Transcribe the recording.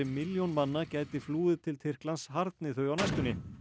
milljón manna gæti flúið til Tyrklands harðni þau á næstunni